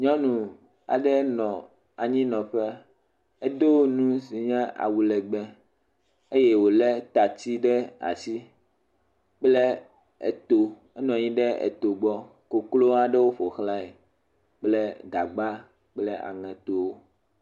Nyɔnu aɖe nɔ anyinɔƒe. Edo nu si nye awu legbẽ eye wolé tatsi ɖe asi kple to. Enɔ anyi ɖe to gbɔ, koklo aɖewo ƒo xlã kple gagba kple aŋeto.